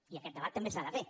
i aquest debat també s’ha de fer